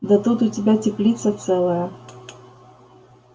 да тут у тебя теплица целая